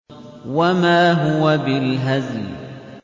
وَمَا هُوَ بِالْهَزْلِ